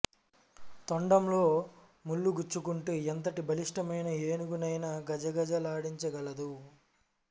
తొండంలో ముల్లు గుచ్చుకుంటే ఎంతటి బలిష్టమైన ఏనుగు నైనా గజ గజలాడించ గలదు